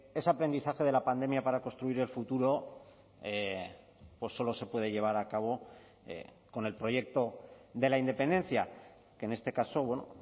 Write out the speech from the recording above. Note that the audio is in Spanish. ese aprendizaje de la pandemia para construir el futuro solo se puede llevar a cabo con el proyecto de la independencia que en este caso bueno